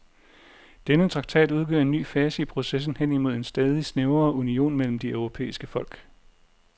Denne traktat udgør en ny fase i processen hen imod en stadig snævrere union mellem de europæiske folk.